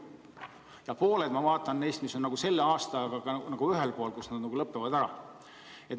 Ja pooled, ma vaatan, on nagu selle aastaga ühel pool, nad lõpevad ära.